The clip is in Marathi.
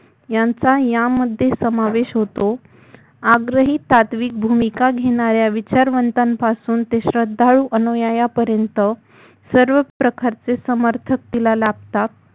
यांच्यायामध्ये समावेश होतो आग्रहिक सात्विक भूमिका घेणा-या विचारवंतापासून ते श्रद्धाळू अनुयायांपर्यंत सर्वच प्रकारचे समर्थक तिला लाभतात